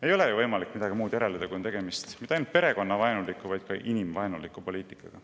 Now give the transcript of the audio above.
Ei ole ju võimalik järeldada midagi muud kui seda, et tegemist on mitte ainult perekonnavaenuliku, vaid ka inimvaenuliku poliitikaga.